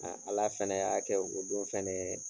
Ala fɛnɛ y'a kɛ o don fɛnɛɛ